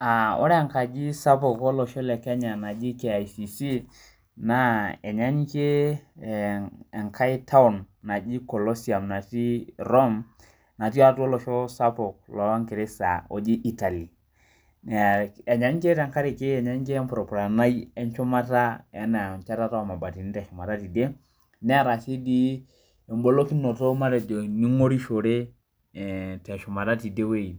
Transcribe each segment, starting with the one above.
Aa ore enkaji sapuk olosho le kenya naji kicc na enyanyikie enkae taun naji kolosian natii rome natii olosho sapuk longirisa oji Italy enyanyikie tempurupurai eshumata anaa enchetata omabatini teshumata neeta engorishorete ee teshumata tidie wueji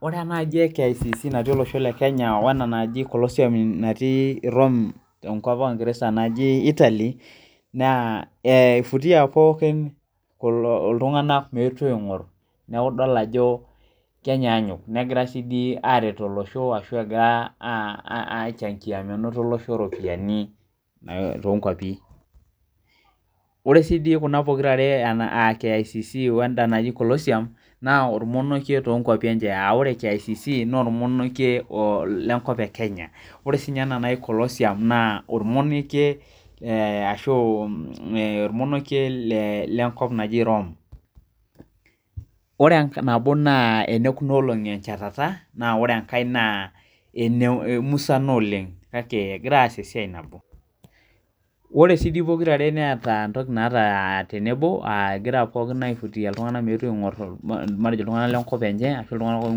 ore enaaji naji kicc tolosho le Kenya wena naji torosium tolosho le rome enkop ongirisa najibitalia na ifutia ltunganak meetu adol na idol ajo egira aret olosho egira aichangia minoto olosho ropiyani ore si kicc wenda naji kolosium na ormonokie tonkwapi enyebaa ore kicc na ormonokie tolosho le Kenya ore sinye ena naji kolosium na ormonokie tolosho erome ore nabo na enadet echetata ore enkae na eniapa kake egira aas esiai nabo ore sipokira negira aas entoki nabo egira aifutia ltunganak meetu ltunganak lenkop enye ashu